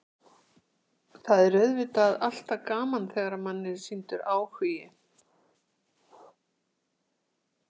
Það er auðvitað alltaf gaman þegar manni er sýndur áhugi.